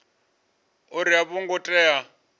uri a vho ngo tea